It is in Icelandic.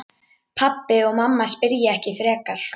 Pabbi og mamma spyrja ekki frekar.